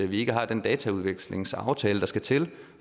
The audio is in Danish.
vi ikke har den dataudvekslingsaftale der skal til